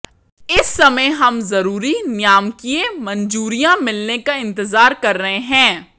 इस समय हम जरूरी नियामकीय मंजूरियां मिलने का इंतजार कर रहे हैं